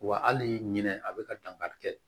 Wa hali ɲinɛ a bɛ ka dankari kɛ